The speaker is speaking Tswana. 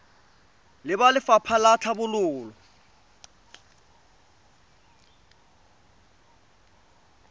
le ba lefapha la tlhabololo